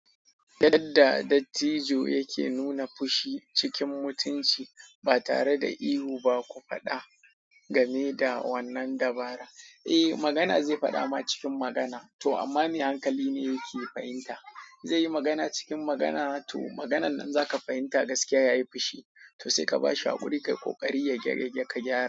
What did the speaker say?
Yadda dattijo yake nuna fushi cikin mutunci ba tare da ihu ba ko faɗa game da wannan dabara. Eh, magana zai faɗa ma cikin magana to amma me hankali ne yake fahimta. Zai yi magana cikin magana to maganan nan zaka fahimta gaskiya yayi fushi to sai ka bashi hakuri kai ƙoƙari ya gyage ka gyara.